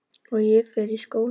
Og ég fer í skólann.